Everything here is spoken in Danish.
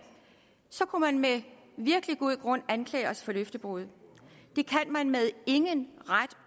så kunne man med virkelig god grund anklage os for løftebrud det kan man med ingen ret